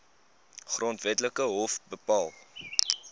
grondwetlike hof bepaal